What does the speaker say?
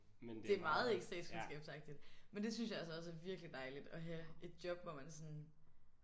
Det er meget ikke statskundskabsagtigt men det synes jeg altså også er virkelig dejligt at have et job hvor man sådan